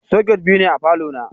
Soket biyu ne a falo na.